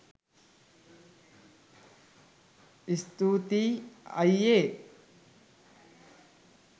ස්තූතියි අයියේ